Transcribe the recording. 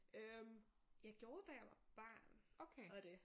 Øh jeg gjorde da jeg var barn og det